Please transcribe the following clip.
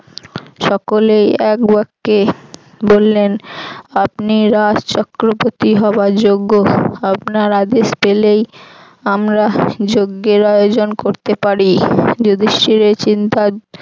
সকলেই এক বাক্যে বললেন আপনি রাজচক্রবর্তী হবার যোগ্য আপনার আদেশ পেলেই আমরা যঞ্জের আয়োজন করতে পারি যুধিষ্ঠির এই চিন্তা